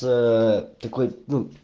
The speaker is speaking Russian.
ээ такой ну